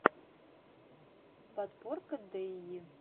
подборка дэйи